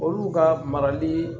Olu ka marali